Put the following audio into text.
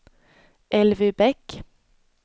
Elvy Bäck